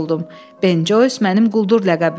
Ben Coys mənim quldur ləqəbimdir.